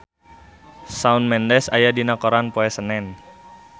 Shawn Mendes aya dina koran poe Senen